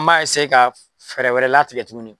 N b'a ka fɛɛrɛ wɛrɛ latigɛ tuguni.